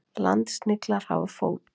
Landsniglar hafa fót.